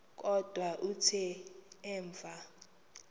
kodwa kuthe emva